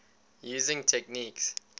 using techniques